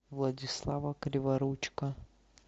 владислава криворучко